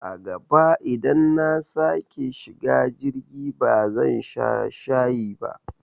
A gaba idan nasake shiga jirgi ba zan sha shayi ba